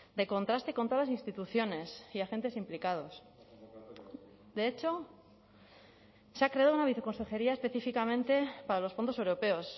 de contraste con todas las instituciones y agentes implicados de hecho se ha creado una viceconsejería específicamente para los fondos europeos